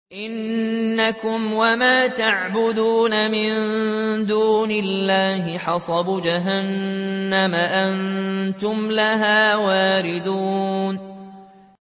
إِنَّكُمْ وَمَا تَعْبُدُونَ مِن دُونِ اللَّهِ حَصَبُ جَهَنَّمَ أَنتُمْ لَهَا وَارِدُونَ